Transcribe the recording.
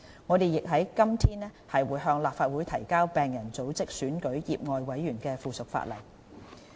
我們亦於今天向立法會提交病人組織選舉醫委會業外委員的附屬法例。